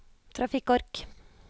trafikkork